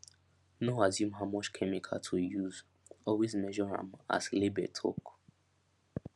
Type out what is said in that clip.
no assume how much chemical to use always measure am as label talk